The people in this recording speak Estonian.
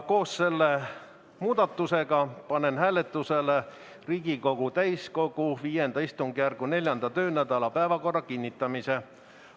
Koos selle muudatusega panen hääletusele Riigikogu täiskogu V istungjärgu 4. töönädala päevakorra kinnitamise.